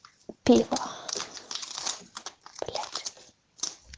пиво блять